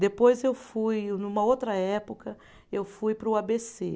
Depois eu fui, numa outra época, eu fui para o a bê cê